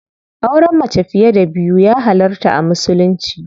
Auren mace fiye da biyu ya halarta a musulunci.